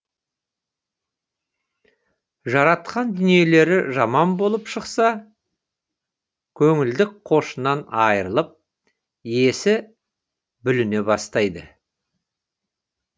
жаратқан дүниелері жаман болып шықса көңілдік қошынан айырылып есі бүліне бастайды